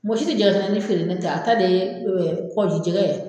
Mɔgɔ si tɛ jɛgɛ kɛnɛni feere ni ne tɛ a ta de ye kɔgɔji jɛgɛ ye.